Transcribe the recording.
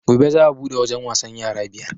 Gobe za a buɗe wajen wasan yara biyar